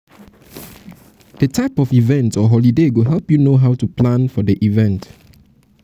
the type of event or holiday go help you know how to plan for di event